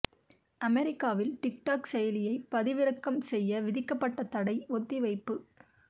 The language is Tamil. அமெரிக்காவில் டிக் டொக் செயலியை பதிவிறக்கம் செய்ய விதிக்கப்பட்ட தடை ஒத்திவைப்பு